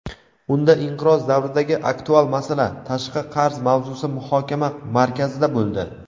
Unda inqiroz davridagi aktual masala — tashqi qarz mavzusi muhokama markazida bo‘ldi.